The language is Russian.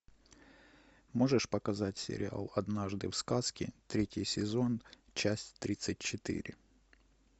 можешь показать сериал однажды в сказке третий сезон часть тридцать четыре